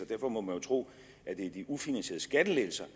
derfor må man jo tro at det er de ufinansierede skattelettelser